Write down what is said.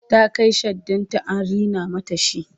ta Kai shaddan ta an rina mata shi